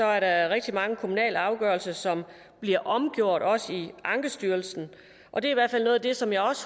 er rigtig mange kommunale afgørelser som bliver omgjort også i ankestyrelsen og det er i hvert fald noget af det som jeg